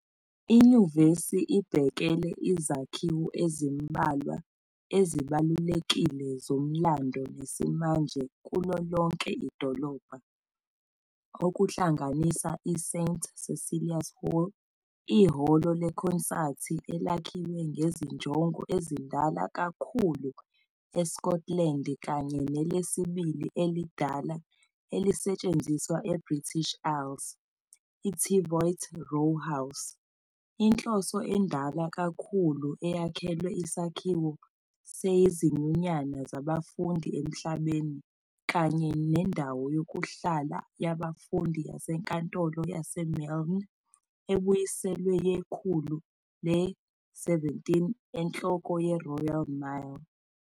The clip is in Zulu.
Inyuvesi ibhekele izakhiwo ezimbalwa ezibalulekile zomlando nesimanje kulo lonke idolobha, okuhlanganisa i-St Cecilia's Hall, ihholo lekhonsathi elakhiwe ngezinjongo ezindala kakhulu eScotland kanye nelesibili elidala elisetshenziswa eBritish Isles, I-Teviot Row House, inhloso endala kakhulu eyakhelwe isakhiwo sezinyunyana zabafundi emhlabeni, kanye nendawo yokuhlala yabafundi yaseNkantolo yaseMylne ebuyiselwe yekhulu le-17 enhloko yeRoyal Mile.